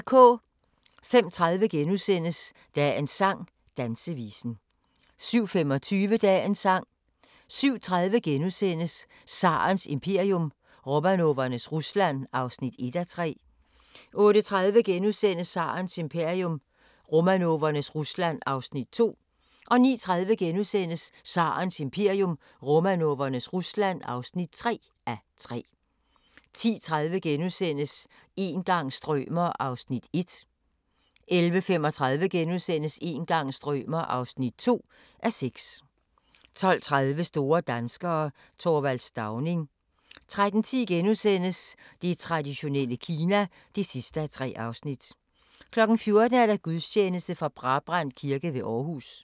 05:30: Dagens sang: Dansevisen * 07:25: Dagens sang 07:30: Tsarens imperium – Romanovernes Rusland (1:3)* 08:30: Tsarens imperium – Romanovernes Rusland (2:3)* 09:30: Tsarens imperium – Romanovernes Rusland (3:3)* 10:30: Een gang strømer ... (1:6)* 11:35: Een gang strømer ... (2:6)* 12:30: Store danskere - Th. Stauning 13:10: Det traditionelle Kina (3:3)* 14:00: Gudstjeneste fra Brabrand Kirke ved Aarhus